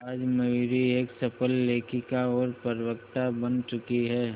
आज मयूरी एक सफल लेखिका और प्रवक्ता बन चुकी है